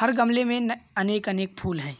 हर गमले में न अनेक-अनेक फूल हैं।